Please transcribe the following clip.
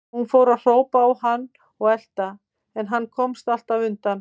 Hún fór að hrópa á hann og elta, en hann komst alltaf undan.